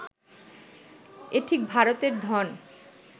এ ঠিক ভারতের ধন